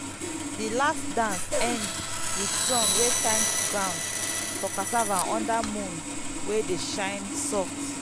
the last dance end with song wey thank ground for cassava under moon wey dey shine soft.